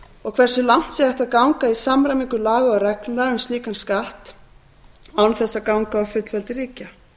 og hversu langt sé hægt að ganga í samræmingu laga og reglna um slíkan skatt án þess að ganga á fullveldi ríkja